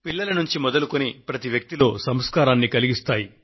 పిల్లల నుండి మొదలుకొని ప్రతి వ్యక్తిలో సంస్కారాన్ని కలిగిస్తాయి